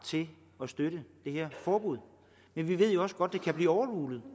til at støtte det her forbud men vi ved også godt at det kan blive overrulet